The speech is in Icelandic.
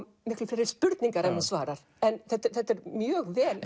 miklu fleiri spurningar en hún svarar en þetta er mjög vel